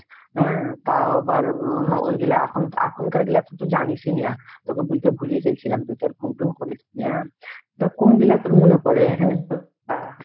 হ্যাঁ তাও আবার ওইগুলো এখন এখনকার গুলো তো তুই জানিসই না তোকে বলতে ভুলেই গেলছিলাম, তুই তো আর phone টন করিসন্যা আর তা কোনগুলা কোনগুলা পরে